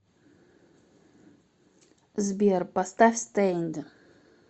сбер поставь стэйнд